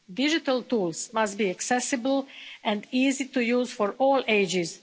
Digital tools must be accessible and easy to use for all ages.